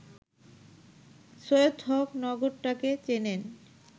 সৈয়দ হক নগরটাকে চেনেন